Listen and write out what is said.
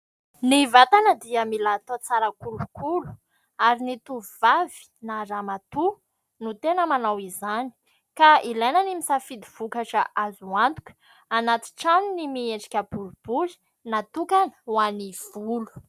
Ny vatana dia mila atao tsara kolokolo ary ny tovovavy na ramatoa no tena manao izany ka ilaina ny misafidy vokatra azo antoka, anaty tranony miendrika boribory natokana ho an'ny volo.